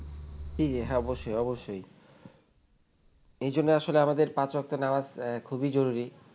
জি হ্যাঁ অবশ্যই অবশ্যই এ জন্য আসলে আমাদের পাঁচ ওয়াক্ত নামাজ খুবই জরুরি